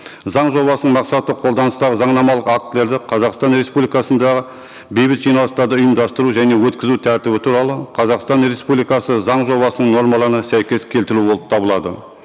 заң жобасының мақсаты қолданыстағы заңнамалық актілерді қазақстан республикасында бейбіт жиналыстарды ұйымдастыру және өткізу тәртібі туралы қазақстан республикасы заң жобасының нормаларына сәйкес келтіру болып табылады